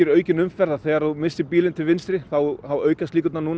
aukinni umferð að þegar þú missir bílinn til vinstri þá aukast líkurnar